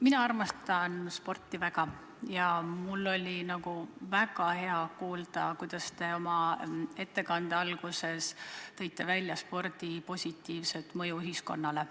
Mina armastan sporti väga ja mul oli väga hea kuulda, kuidas te oma ettekande alguses rääkisite spordi positiivsest mõjust ühiskonnale.